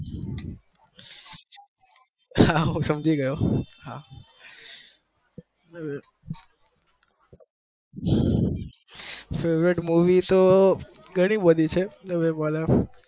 હા હું સમજી ગય favourite movie ધણી બધી છે